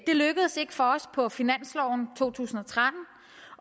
det lykkedes ikke for os på finansloven to tusind og tretten